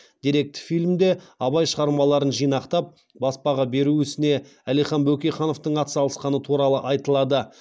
деректі фильмде абай шығармаларын жинақтап баспаға беру ісіне әлихан бөкейхановтың атсалысқаны туралы айтылады